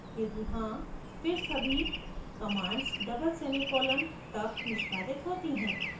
यदि हाँ फिर सभी commands double semicolon ;; तक निष्पादित होती हैं